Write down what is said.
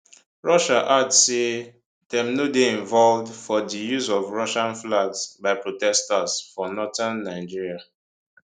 russia add say dem no dey involved for di use of russian flags by protesters for northern nigeria